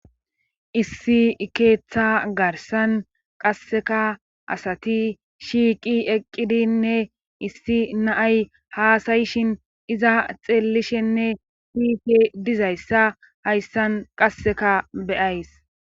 issi ikeeththa garsan qasseka asati shiiqi eqqidinne issi na'ay haasayishin iza xeellishenne siyishshe dizayssa hayssan qasseka be'ays